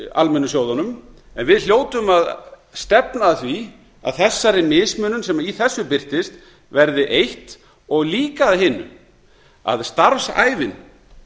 almennu sjóðunum en við hljótum að stefna að því að þessari mismunun sem í þessu birtist verði eitt og líka að hinu að starfsævin